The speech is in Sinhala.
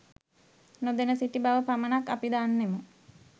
නොදැන සිටි බව පමණක් අපි දන්නෙමු